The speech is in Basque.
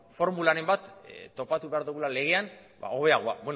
formularen bat topatu behar dugula legean hobeagoa